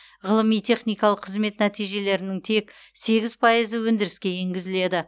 ғылыми техникалық қызмет нәтижелерінің тек сегіз пайызы өндіріске енгізіледі